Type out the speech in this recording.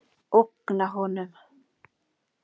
Ógna honum.